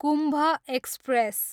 Kumbh express